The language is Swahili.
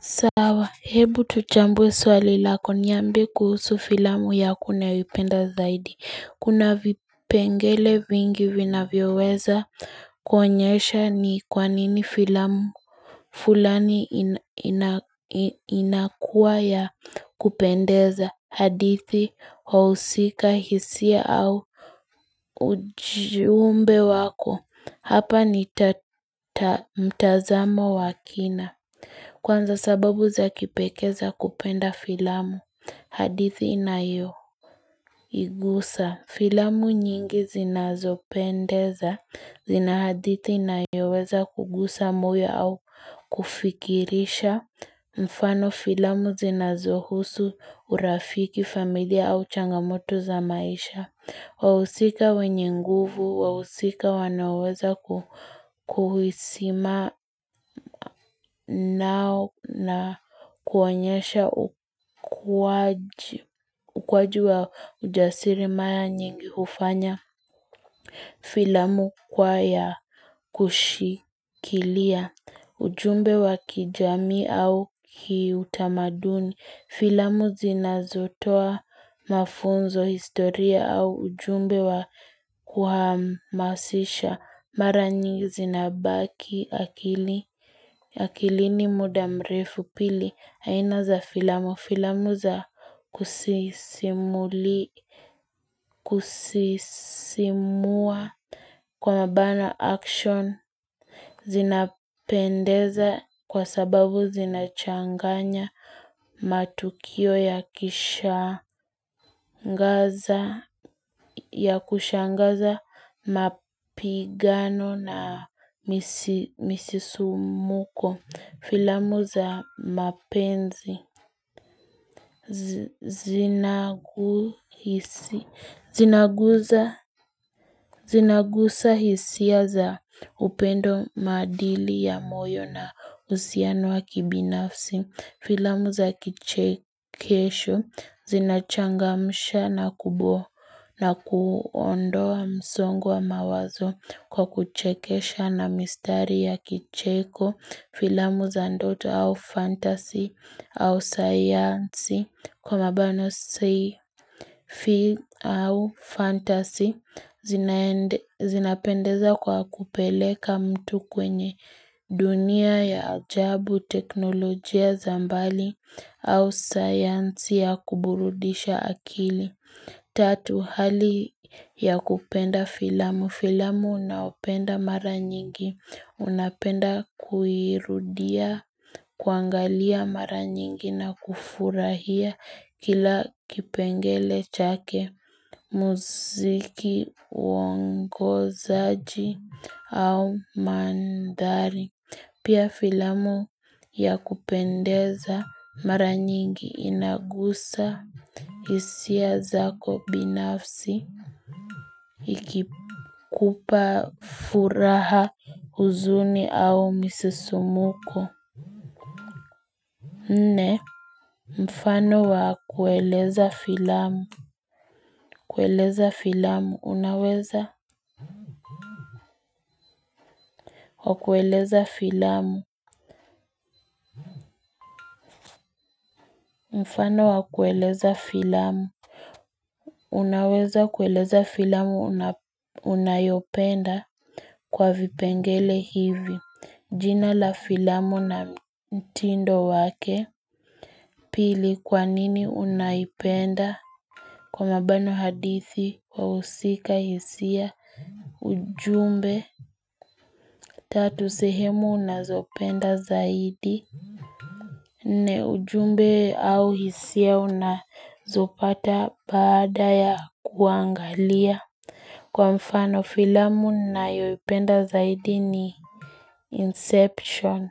Sawa, hebu tuchambwe swali lako nyambi kuhusu filamu ya kuna vipenda zaidi. Kuna vipengele vingi vina vio weza kwenyesha ni kwanini filamu fulani inakua ya kupendeza hadithi, wausika, hisia au ujumbe wako. Hapa ni tata mtazama wakina. Kwanza sababu za kipekeza kupenda filamu. Hadithi inayo igusa. Filamu nyingi zinazopendeza. Zinahadithi inayoweza kugusa muya au kufikirisha. Mfano filamu zinazohusu urafiki familia au changamoto za maisha. Wawusika wenye nguvu, wawusika wanaweza kuhisima nao na kuanyesha ukwaji wa ujasiri maya nyingi ufanya filamu kwaya kushikilia ujumbe wa kijami au kiutamaduni. Filamu zinazotoa mafunzo historia au ujumbe wa kuhamasisha maranyi zinabaki akili. Ya kilini mudamrefu pili haina za filamu filamu za kusisimuli kwa mabana action zinapendeza kwa sababu zinachanganya matukio ya kishangaza ya kushangaza mapigano na misisumuko Filamu za mapenzi zinagusa hisia za upendo madili ya moyo na usianuwa kibinafsi. Filamu za kichekesho zinachangamusha na kubo na kuondoa msongo wa mawazo kwa kuchekesha na mistari ya kicheko. Filamu za ndoto au fantasy au science kwa mabano fantasy zinapendeza kwa kupeleka mtu kwenye dunia ya jabu teknolojia zambali au science ya kuburudisha akili. Tatu hali ya kupenda filamu. Filamu unaopenda mara nyingi. Unapenda kuirudia, kuangalia mara nyingi na kufurahia kila kipengele chake muziki, uongo zaji au mandari. Pia filamu ya kupendeza mara nyingi inagusa isia zako binafsi ikikupa furaha uzuni au misisumuko. Mfano wakueleza filamu. Kueleza filamu. Unaweza wakueleza filamu. Mfano wakueleza filamu. Unaweza kueleza filamu unayopenda kwa vipengele hivi. Jina la filamu na mtindo wake. Pili kwa nini unayopenda. Kwa mabano hadithi, kwa usika, hisia, ujumbe. Tatu sehemu na zopenda zaidi na ujumbe au hisia una zopata baada ya kuangalia Kwa mfano filamu na yoi penda zaidi ni inception